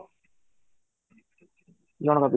ଜଣକ ପିଛା